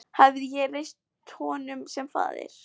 Hafði ég ekki reynst honum sem faðir?